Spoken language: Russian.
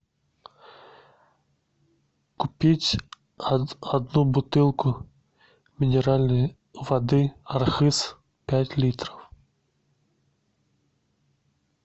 купить одну бутылку минеральной воды архыз пять литров